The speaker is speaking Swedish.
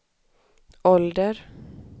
ålder